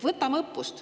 Võtame õppust.